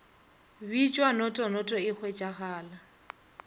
bitšwa noto noto e hwetšegala